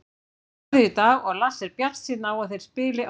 Þeir æfðu í dag og Lars er bjartsýnn á að þeir spili á þriðjudaginn.